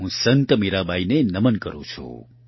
હું સંત મીરાબાઇને નમન કરૂં છું